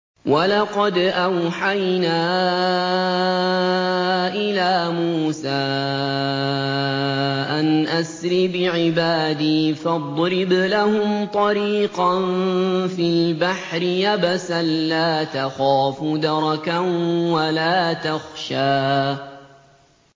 وَلَقَدْ أَوْحَيْنَا إِلَىٰ مُوسَىٰ أَنْ أَسْرِ بِعِبَادِي فَاضْرِبْ لَهُمْ طَرِيقًا فِي الْبَحْرِ يَبَسًا لَّا تَخَافُ دَرَكًا وَلَا تَخْشَىٰ